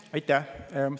Aitäh!